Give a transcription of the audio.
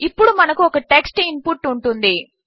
ఇప్పుడు మనకు ఒక టెక్స్ట్ ఇన్ పుట్ ఉంటుంది